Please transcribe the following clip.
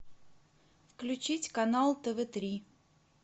включить канал тв три